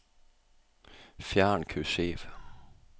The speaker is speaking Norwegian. Fjern kursiv